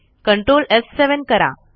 ctrl एफ7 करा